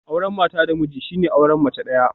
Auren mata da miji shine auren mace daya